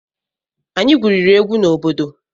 Anyị gwuriri egwu na obodo.